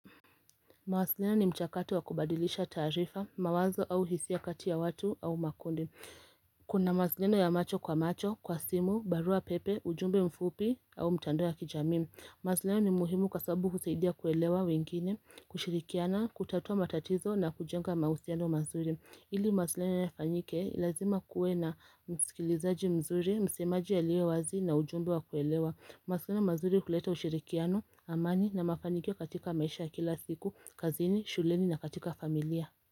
Mawazileno ni mchakato wa kubadilisha tarifa, mawazo au hisiakati ya watu au makundi. Kuna mawasileno ya macho kwa macho, kwa simu, barua pepe, ujumbe mfupi au mtando ya kijami. Mawasilino ni muhimu kasabu kuseidia kuelewa wengine, kushirikiana, kutatua matatizo na kujenga mausiano mazuri. Ili mawasilno ya fanyike ilazima kuwe na msikilizaji mzuri, msemaji ya liewazi na ujumbe wa kuelewa. Mawasiliano mazuri kuleta ushirikiano, amani na mafaniko katika maisha kila siku, kazini, shuleni na katika familia.